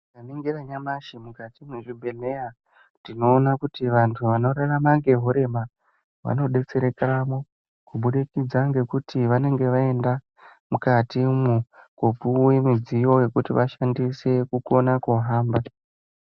Tikaringira nyamashi mukati mwezvibhedhleya tinoona kuti vantu vanorarama ngehurema vanodetserekamwo kubudikidza ngekuti vanenge vaenda mukatimwo kuopuwe midziyo yekuti vashandise kukona kuhamba.